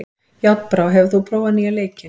Járnbrá, hefur þú prófað nýja leikinn?